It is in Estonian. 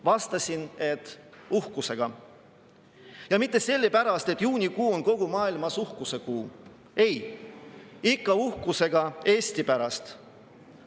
Vastasin, et uhkusega, ja mitte sellepärast, et juunikuu on kogu maailmas uhkuse kuu – ei, ikka uhkusega Eesti pärast.